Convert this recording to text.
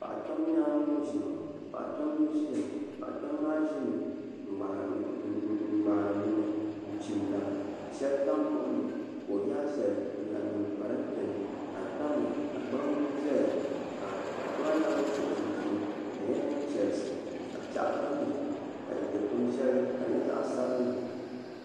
Paɣa kpɛm n ʒiya Paɣa kpɛm maa ʒimi n ŋmahari bini n chimda ka shɛli tam buɣum ni ka o yaa shɛli n zaŋ niŋ parantɛ ni ka di tamya ka gbambili ʒɛya paɣa kpɛm ŋo nyɛla ŋun so chinchini ka di nyɛ din chɛrisi ka piɛɣu tamya ka dikpuni shɛli ka di nyɛ zaɣ sabinli